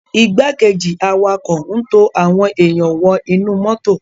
Igbákejì awakọ n to awọn èyán wọ inu moto.